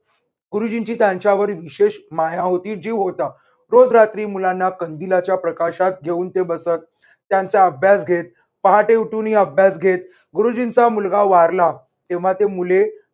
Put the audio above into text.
गुरुजींची त्यांच्यावर विशेष माया होती, जीव होता, रोज रात्री मुलांना कंदिलाच्या प्रकाशात घेऊन ते बसत. त्यांचा अभ्यास घेत, पहाटे उठूनही अभ्यास घेत गुरुजींचा मुलगा वारला, तेव्हा ते मुले